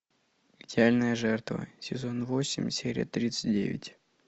идеальная жертва сезон восемь серия тридцать девять